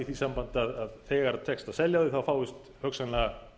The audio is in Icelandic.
í því sambandi að þegar tekst að selja þau þá fáist hugsanlega